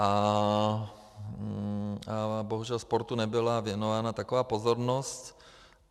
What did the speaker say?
A bohužel sportu nebyla věnována taková pozornost.